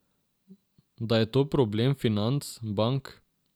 Da je to problem financ, bank.